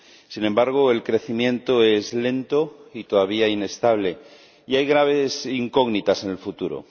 Sin embargo, el crecimiento es lento y todavía inestable, y hay graves incógnitas en el futuro.